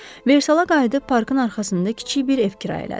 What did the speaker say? Versala qayıdıb parkın arxasında kiçik bir ev kirayə elədi.